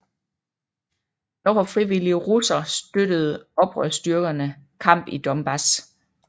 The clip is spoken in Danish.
Dog har frivillige russere støttede oprørsstyrkerne kamp i Donbass